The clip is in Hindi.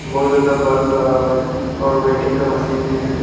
बहुत ज्यादा बल्ब लगा हुआ है और वेटिंग का मशीन भी है।